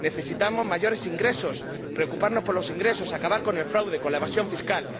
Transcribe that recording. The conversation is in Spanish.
Necesitamos mayores ingresos, preocuparnos por los ingresos, acabar con el fraude, con la evasión fiscal.